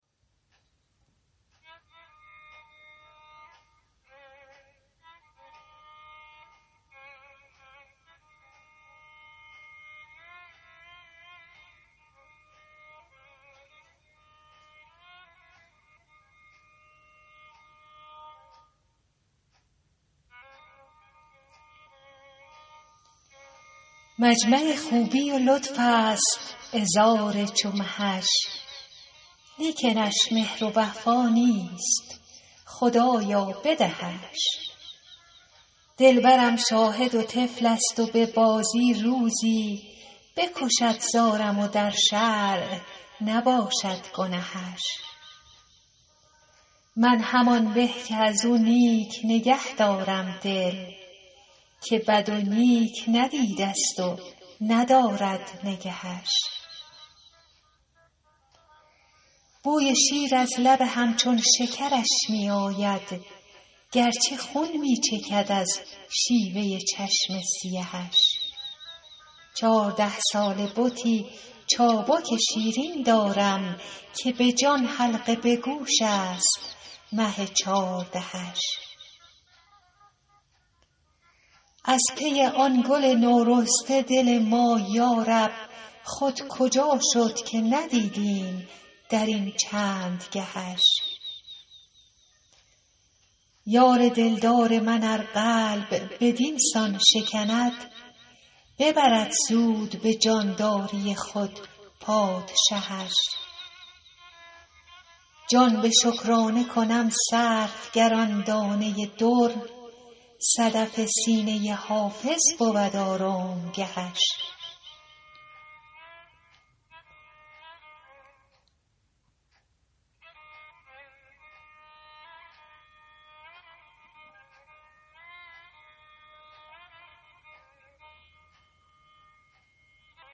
مجمع خوبی و لطف است عذار چو مهش لیکنش مهر و وفا نیست خدایا بدهش دلبرم شاهد و طفل است و به بازی روزی بکشد زارم و در شرع نباشد گنهش من همان به که از او نیک نگه دارم دل که بد و نیک ندیده ست و ندارد نگهش بوی شیر از لب همچون شکرش می آید گرچه خون می چکد از شیوه چشم سیهش چارده ساله بتی چابک شیرین دارم که به جان حلقه به گوش است مه چاردهش از پی آن گل نورسته دل ما یارب خود کجا شد که ندیدیم در این چند گهش یار دلدار من ار قلب بدین سان شکند ببرد زود به جانداری خود پادشهش جان به شکرانه کنم صرف گر آن دانه در صدف سینه حافظ بود آرامگهش